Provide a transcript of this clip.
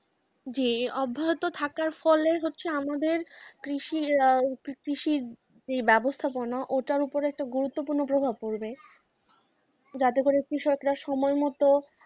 জি অব্যাহত থাকার ফলে হচ্ছে আমাদের কৃষির আহ কৃষির যে ব্যবস্থাপনা ওটার উপরে একটা গুরুত্বপূর্ণ প্রভাব পড়বে যাতে করে কৃষকরা সময় মতো,